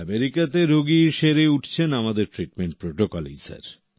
আমেরিকাতে রোগী সেরে উঠছেন আমাদের ট্রিটমেন্ট প্রটোকলে স্যার